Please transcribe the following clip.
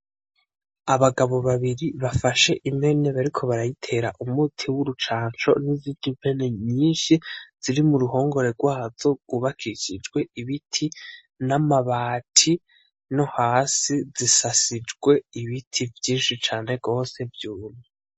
Abagabo babiri bafashe impene bariko barayitera umuti w'urucanco n'izindi mpene nyishi ziri muruhongore rwazo rwubakishijwe ibiti, n'amabati nohasi zisasijwe ibiti vyinshi cane gose vyumye.